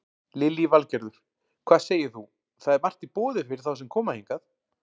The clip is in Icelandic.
Lillý Valgerður: Hvað segir þú, það er margt í boði fyrir þá sem koma hingað?